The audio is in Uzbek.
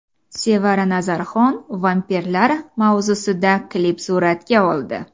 Sevara Nazarxon vampirlar mavzusida klip suratga oldi .